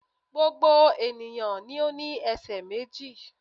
Gbogbo ènìyàn ló ní esè méjì